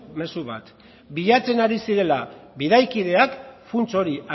mezu bat bilatzen ari zirela bidaikideak funts hori